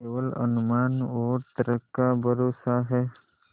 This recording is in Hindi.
केवल अनुमान और तर्क का भरोसा है